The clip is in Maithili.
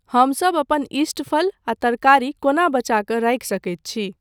हम सभ अपन इष्ट फल आ तरकारी कोना बचा कऽ राखि सकैत छी?